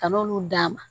Ka n'olu d'a ma